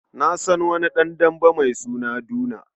Na san wani ɗan dambe mai suna Duna.